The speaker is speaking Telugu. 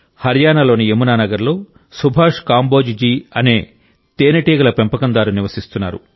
హర్యానాలోని యమునానగర్లో సుభాష్ కాంబోజ్ జీ అనే తేనెటీగల పెంపకందారు నివసిస్తున్నారు